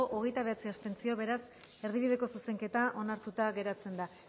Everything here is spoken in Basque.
hogeita bederatzi abstentzio beraz erdibideko zuzenketa onartuta geratzen da